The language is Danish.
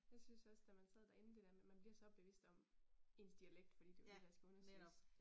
Jeg synes også da man sad derinde det der med man bliver så bevidst om ens dialekt fordi det jo det der skal undersøges